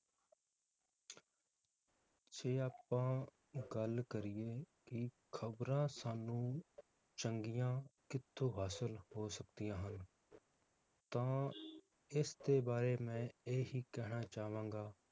ਜੇ ਆਪਾਂ ਗੱਲ ਕਰੀਏ ਕਿ ਖਬਰਾਂ ਸਾਨੂੰ ਚੰਗੀਆਂ ਕਿਥੋਂ ਹਾਸਿਲ ਹੋ ਸਕਦੀਆਂ ਹਨ ਤਾਂ ਇਸ ਦੇ ਬਾਰੇ ਮੈ ਇਹ ਹੀ ਕਹਿਣਾ ਚਾਵਾਂਗਾ